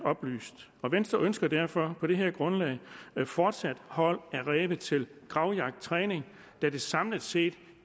oplyst venstre ønsker derfor på det her grundlag fortsat hold af ræve til gravjagttræning da det samlet set